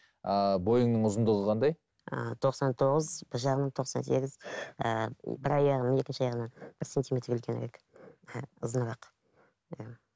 ыыы бойыңның ұзындығы қандай ыыы тоқсан тоғыз бір жағынан тоқсан сегіз ііі бір аяғым екінші аяғымнан бір сантиметр үлкенірек ііі ұзынырақ иә